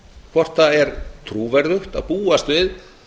hvort það er trúverðugt að búast við